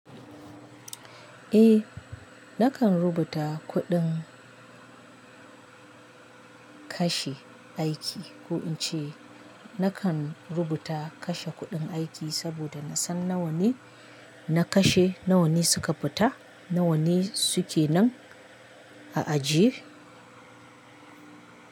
Eh, nakan rubuta kuɗin kashe aiki ko in ce nakan rubuta kashe kuɗin aiki saboda na san nawane na kashe, nawane suka fita, nawane suke nan a aji.